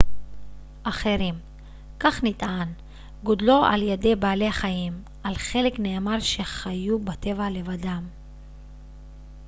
אחרים כך נטען גודלו על-ידי בעלי חיים על חלק נאמר שחיו בטבע לבדם